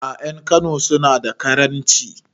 A'a ƴan kano suna da karanci